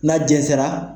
N'a jɛnsɛnra